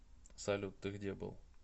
салют ты где был